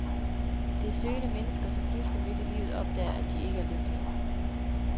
Det er søgende mennesker, som pludselig midt i livet opdager, at de ikke er lykkelige.